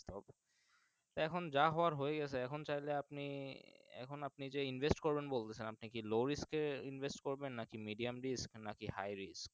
এখন যা হওয়ার হয়েগেছে এখন চাইলে আপনি এখন আপনি যে Invest করবেন বলছেন আপনি কি Lowest এ Invest করবেন নাকি Medium list নাকি Hi list